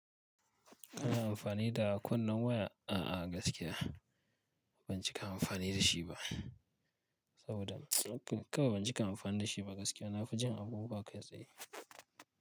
Kana amfani da kunnen waya a'a gaskiya ban cika amfani da shi ba saboda kawai ban cika amfani da shi ba gaskiya na fi jin abubuwa kai tsaye.